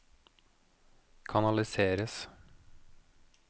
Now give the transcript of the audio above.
kanaliseres